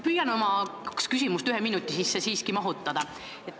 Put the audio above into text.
Püüan oma kaks küsimust ühe minuti sisse mahutada.